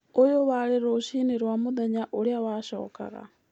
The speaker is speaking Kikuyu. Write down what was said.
Ũyũ warĩ rũcini rwa mũthenya ũrĩa wacokaga.